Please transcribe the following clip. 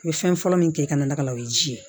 N bɛ fɛn fɔlɔ min kɛ ka na ka na o ye ji ye